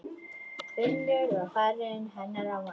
Finnur varir hennar á vanga.